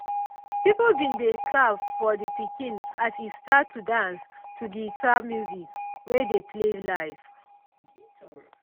people bin dey clap for de pikin as e start to dance to guitar music wey dey play live.